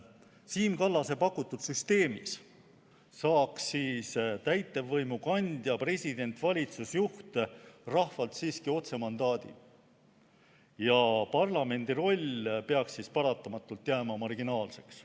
Siim Kallase pakutud süsteemis saaks täitevvõimu kandja, president, valitsusjuht, rahvalt siiski otsemandaadi ja parlamendi roll peaks siis paratamatult jääma marginaalseks.